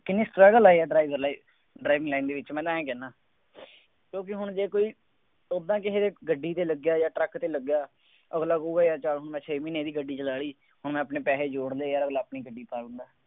ਕਿੰਨੀ struggle ਆ ਯਾਰ driver life driving line ਦੇ ਵਿੱਚ ਮੈਂ ਤਾਂ ਆਂਏਂ ਕਹਿੰਦਾ, ਕਿਉਂਕਿ ਹੁਣ ਜੇ ਕੋਈ ਤੋਤਾ ਕਿਸੇ ਦੇ ਗੱਡੀ ਤੇ ਲੱਗਿਆ ਜਾਂ ਟਰੱਕ ਤੇ ਲੱਗਿਆ। ਅਗਲਾ ਕਹੂਗਾ ਯਾਰ ਚੱਲ ਹੁਣ ਮੈਂ ਛੇ ਮਹੀਨੇ ਇਹਦੀ ਗੱਡੀ ਚਲਾ ਲਈ, ਹੁਣ ਮੈਂ ਆਪਣੇ ਪੈਸੇ ਜੋੜ ਲਏ, ਅਗਲਾ ਆਪਣੀ ਗੱਡੀ ਪਾ ਦਿੰਦਾ।